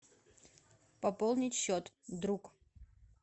пополнить счет друг